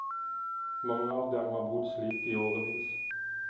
Mange av dem har bodd slik i årevis.